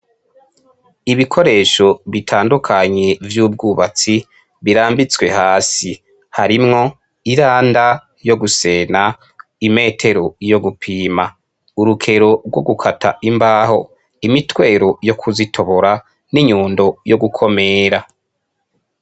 Ibikoresho bitandukanye vy'ubwubatsi birambitswe hasi, harimwo iranda yo gusena, imetero yo gupima, urukero rwo gukata imbaho, imitwero yo kuzitobora n'inyundo gukomira.